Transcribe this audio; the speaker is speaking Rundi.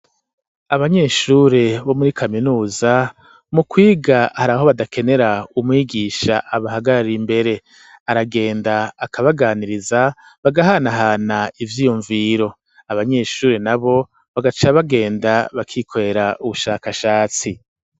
Abanyeshuri bo muri kaminuza ,mu kwiga hari aho badakenera umwigisha abahagarari imbere, aragenda akabaganiriza bagahanahana ivyiyumviro ,abanyeshuri na bo bagaca bagenda bakikorera ubushakashatsi.